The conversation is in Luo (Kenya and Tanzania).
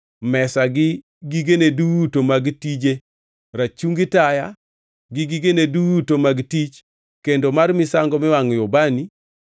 mesa gi gigene duto mag tije, rachungi taya gi gigene duto mag tich, kendo mar misango miwangʼoe ubani,